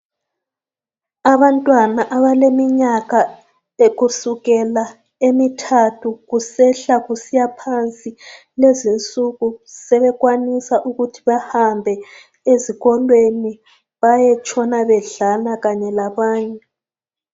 Abantwana abaleminyaka kusukela emithathu kusehla kusiyaphansi kulezinsuku sebekwanisa ukuthi bahambe ezikolweni bayetshona bedlala kanye labanye.